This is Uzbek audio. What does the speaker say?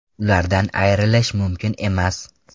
Ulardan ayrilish mumkin emas.